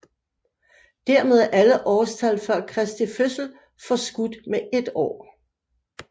Dermed er alle årstal før Kristi fødsel forskudt med et år